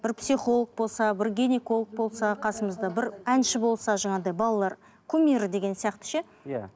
бір психолог болса бір гинеколог болса қасымызда бір әнші болса жаңағыдай балалар кумирі деген сияқты ше иә